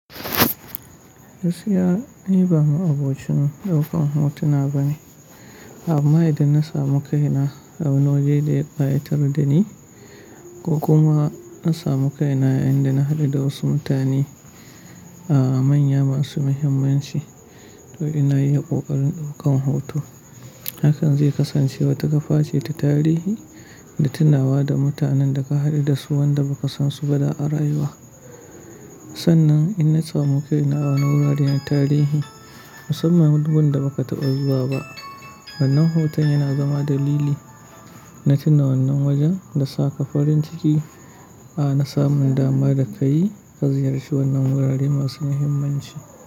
Gaskiya ni ba mu abocin daukan hotuna bane. Amma idan na samu kaina a wani waje da ya kayatar da ni ko kuma na samu kaina yanda na haɗu da wasu mutane a manya masu muhimmanci, to ina yi ƙoƙarin ɗaukan hoto. Hakan zai kasance wata kafa ce ta tarihi da tunawa da mutanen da ka haɗu da su wanda ba ka san su ba da a rayuwa. Sannan in na samu kaina a wuraren tarihi musamman duk wanda ba ka taɓa zuwa ba. Wannan hoton yana zama dalili na tuna wannan wajen da sa ka farin ciki a na samun dama da ka yi ka ziyarci wannan wurare masu muhimmanci.